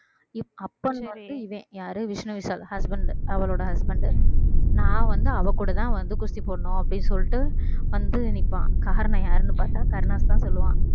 இப்~ அப்பன்னு வந்து யாரு விஷ்ணு விஷால் husband அவளோட husband நான் வந்து அவ கூடதான் வந்து குஸ்தி போடணும் அப்படின்னு சொல்லிட்டு வந்து நிற்பான் காரணம் யாருன்னு பார்த்தா கருணாஸ்தான் சொல்லுவான்